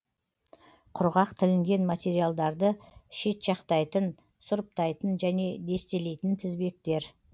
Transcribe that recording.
құрғақ тілінген материалдарды шетжақтайтын сұрыптайтын және дестелейтін тізбектер